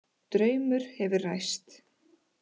Draumur hefur ræst